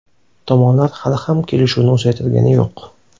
Tomonlar hali ham kelishuvni uzaytirgani yo‘q.